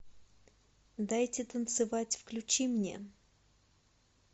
дайте танцевать включи мне